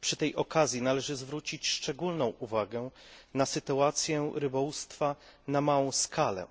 Przy tej okazji należy zwrócić szczególną uwagę na sytuację rybołówstwa na małą skalę,